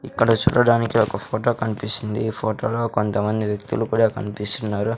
ఇక్కడ చూడడానికి ఒక ఫోటో కనిపిస్తుంది ఈ ఫోటోలో కొంతమంది వ్యక్తులు కూడా కనిపిస్తున్నారు.